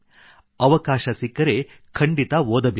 ಅವಕಾಶ ಸಿಕ್ಕರೆ ಖಂಡಿತ ಓದಬೇಕು